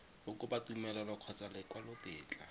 go kopa tumelelo kgotsa lekwalotetla